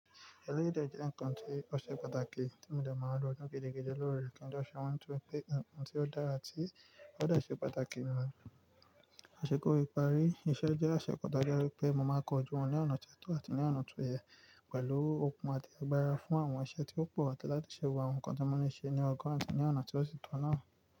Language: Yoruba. Eléyi dè jẹ́ ǹkan tí ó ṣe pàtàkì tí mo dà máa ń lo ní gidigidi lórí rẹ̀ kí n tó ṣe ohun tó pé ǹkan tí ó dára tí ó dọ̀tí ṣe pàtàkì mọ́. Aṣekómi parí, iṣẹ́ jẹ́ asekọta jáde wípé mo máa kọjú wọn ní ọ̀nà tó tọ́ àti ní ọ̀nà tó yẹ pẹ̀lú okun àti agbára fún àwọn iṣẹ́ tí ó pọ̀ tẹ́lá tí ṣe wù àwọn ǹkan tí mo ní ṣe ní ọgàn àti ní ọ̀nà tí ó sì tọ́ náà.